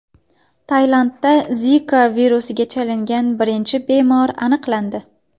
Tailandda Zika virusiga chalingan birinchi bemor aniqlandi.